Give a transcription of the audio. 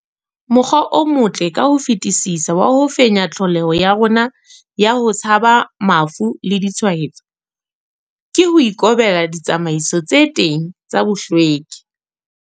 Mokgwa o motle ka ho fetisisa wa ho fenya tlholeho ya rona ya ho tshaba mafu le ditshwaetso, ke ho ikobela ditsamaiso tse teng tsa bohlweki.